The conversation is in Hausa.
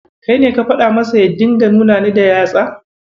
Kai ne ka faɗa masa ya dinga nuna Ni da yatsa?